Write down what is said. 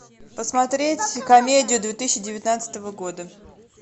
посмотреть комедию две тысячи девятнадцатого года